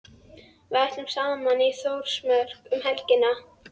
Við ætlum saman í Þórsmörk um helgina.